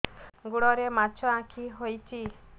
ଗୋଡ଼ରେ ମାଛଆଖି ହୋଇଛି